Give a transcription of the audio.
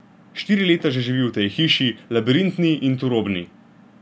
Štiri leta že živi v tej hiši, labirintni in turobni.